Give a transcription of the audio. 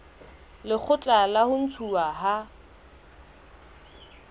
lekgotla la ho ntshuwa ha